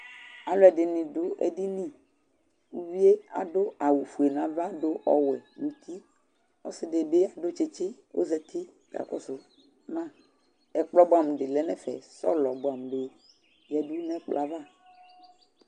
Alɔdini dʊ édini Ʊvɩé adʊ awʊ fʊé naʋa nɔ ɔwʊɛ nu ʊti Ɔsɩdɩ dʊ tsɩtsɩ kɔ ozati ka kɔsʊ mă Ɛkplɔ bʊamʊ dɩ lɛ nɛ ɛfɛ Sɔlɔ bʊamʊ dɩ ya nɛ ɛkplɔɛ ava